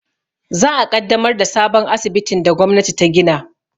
Za a ƙaddamar da sabon asibitin da gwamnati ta gina